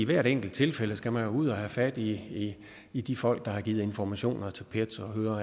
hvert enkelt tilfælde skal man ud og have fat i i de folk der har givet informationer til pet og høre